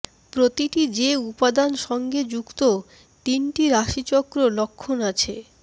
প্রতিটি যে উপাদান সঙ্গে যুক্ত তিনটি রাশিচক্র লক্ষণ আছে